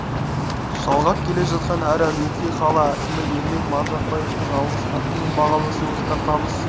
жалғап келе жатқан әр әулетке қала әкімі ермек маржықпаевтың алғыс хаты мен бағалы сыйлықтар табыс